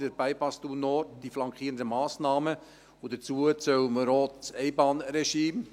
Den Bypass Thun Nord, die flankierenden Massnahmen – und dazu zählen wir auch das Einbahnregime;